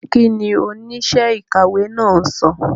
Kí ni oníṣẹ́ ìkàwé náà sọ?